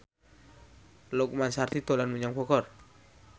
Lukman Sardi dolan menyang Bogor